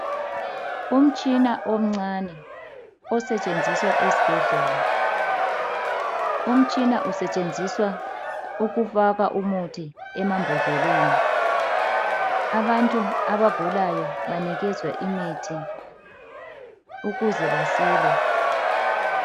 umtshina omncane osetshenziswa esibhedlela umtshina usetshenziswa ukufaka umuthi emambodleleni abantu abagulayo banikezwa imithi ukuze basile